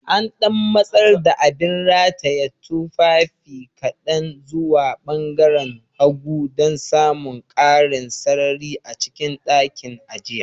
An ɗan matsar da abin rataye tufafi kaɗan zuwa ɓangaaren hagu dan samun ƙarin sarari a cikin ɗakin, a jiya